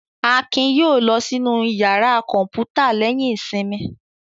Akin yóò lọ sínú ìyàrá kọ̀ǹpútà lẹ́yìn ìsinmi.